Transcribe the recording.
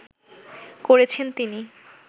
করেছেন তিনি